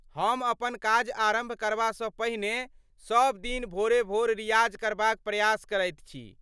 हम अपन काज आरम्भ करबासँ पहिने सब दिन भोरे भोर रियाज करबाक प्रयास करैत छी।